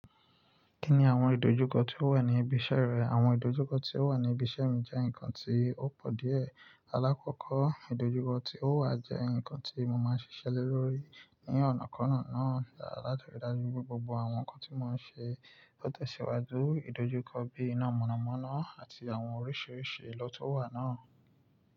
Kí ni àwọn ìdojúkọ tí ó wà ní ibi iṣẹ́ rẹ? Àwọn ìdojúkọ tí ó wà ní ibi iṣẹ́ mi jẹ́ nǹkan tí ó pọ̀ díẹ̀. Alákọ̀ọ́kọ́ ìdojúkọ tí ó wà jẹ́ nǹkan tí mo máa ń ṣiṣẹ́ le lórí ní ọ̀nà kọ̀ọ̀kan náà láti ríi dájú pé gbogbo àwọn nǹkan tí mo ń ṣe ló tẹ̀síwájú. Ìdojúkọ bíi iná mọ̀nàmọ́ná àti àwọn oríṣiríṣi lo tun wà náà.